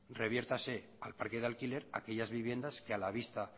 reviértase al parque de alquiler aquellas viviendas que a la vista